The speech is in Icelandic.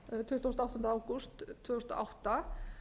tuttugasta og áttunda ágúst tvö þúsund og átta